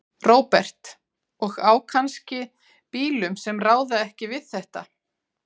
Róbert: Og á kannski bílum sem ráða ekki við þetta?